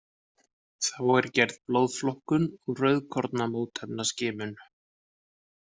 Þá er gerð blóðflokkun og rauðkornamótefnaskimum.